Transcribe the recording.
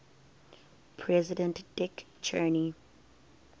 president dick cheney